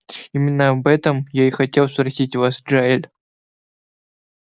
именно об этом я и хотел спросить вас джаэль